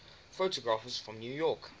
photographers from new york